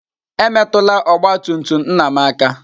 Emetụla ọgba tum tum nna m aka!